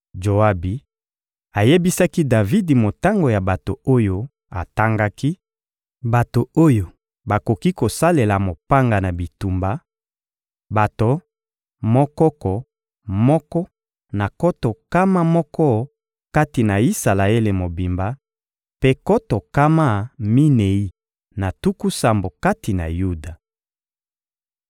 Joabi ayebisaki Davidi motango ya bato oyo atangaki, bato oyo bakoki kosalela mopanga na bitumba: bato monkoko moko na nkoto nkama moko kati na Isalaele mobimba, mpe nkoto nkama minei na tuku sambo kati na Yuda.